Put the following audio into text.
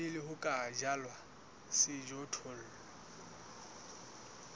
pele ho ka jalwa sejothollo